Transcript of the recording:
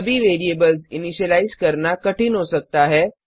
सभी variables initialise करना कठिन हो सकता है